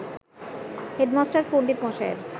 "headmaster পণ্ডিতমশায়ের